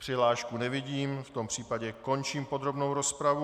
Přihlášku nevidím, v tom případě končím podrobnou rozpravu.